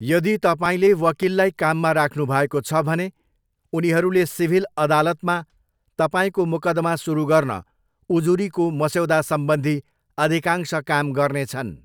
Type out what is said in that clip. यदि तपाईँले वकिललाई काममा राख्नुभएको छ भने, उनीहरूले सिभिल अदालतमा तपाईँको मुकदमा सुरु गर्न उजुरीको मस्यौदासम्बन्धी अधिकांश काम गर्नेछन्।